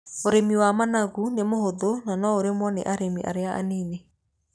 Ũrimi wa managu nĩ mũhũthũ na no ũrĩmwo nĩ arĩmi arĩa a nini.